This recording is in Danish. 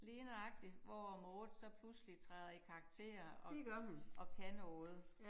Lige nøjagtigt hvor Maude så pludselig træder i karakter og og kan noget